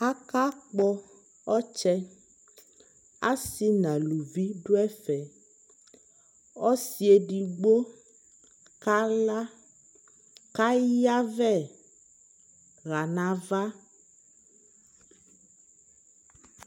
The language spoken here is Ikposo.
aka kpɔ ɔtsɛ, asii nʋ alʋvi dʋ ɛƒɛ, ɔsii ɛdigbɔ kala kʋ ayavɛ hanʋ aɣa